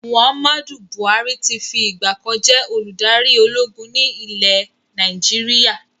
Muhammadu Buhari tí fi ìgbàkan jẹ́ olùdarí ológun ni ilẹ̀ Nàìjíríà